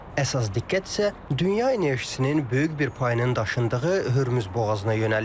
Əsas diqqət isə dünya enerjisinin böyük bir payının daşındığı Hörmüz boğazına yönəlib.